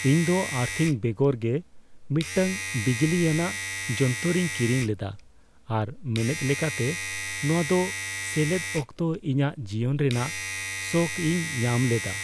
ᱤᱧᱫᱚ ᱟᱨᱛᱷᱤᱝ ᱵᱮᱜᱚᱨ ᱜᱮ ᱢᱤᱫᱴᱟᱝ ᱵᱤᱡᱽᱞᱤᱭᱟᱱᱟᱜ ᱡᱚᱱᱛᱚᱨᱚᱧ ᱠᱤᱨᱤᱧ ᱞᱮᱫᱟ ᱟᱨ ᱢᱮᱱᱮᱫ ᱞᱮᱠᱟᱛᱮ ᱱᱚᱶᱟ ᱫᱚ ᱥᱮᱞᱮᱫ ᱚᱠᱛᱚ ᱤᱧᱟᱹᱜ ᱡᱤᱭᱚᱱ ᱨᱮᱱᱟᱜ ᱥᱚᱠ ᱤᱧ ᱧᱟᱢ ᱞᱮᱫᱟ ᱾